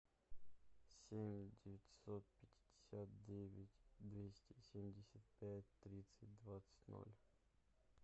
семь девятьсот пятьдесят девять двести семьдесят пять тридцать двадцать ноль